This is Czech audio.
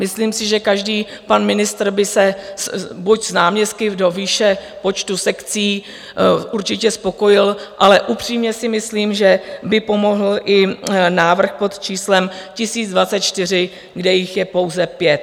Myslím si, že každý pan ministr by se buď s náměstky do výše počtu sekcí určitě spokojil, ale upřímně si myslím, že by pomohl i návrh pod číslem 1024, kde jich je pouze pět.